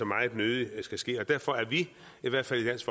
meget nødig skal ske og derfor er vi i hvert fald i dansk